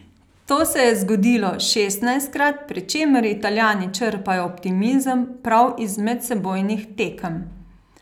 To se je zgodilo šestnajstkrat, pri čemer Italijani črpajo optimizem prav iz medsebojnih tekem.